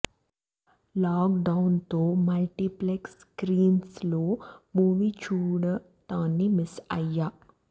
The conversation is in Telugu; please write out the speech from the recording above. లాక్ డౌన్ తో మల్టీప్లెక్స్ స్క్రీన్స్ లో మూవీ చూడటాన్ని మిస్ అయ్యా